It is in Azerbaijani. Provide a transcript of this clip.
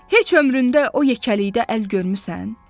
Heç ömründə o yekəlikdə əl görmüsən?